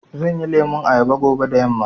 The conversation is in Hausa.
Zanyi lemun ayaba fobe da yamma.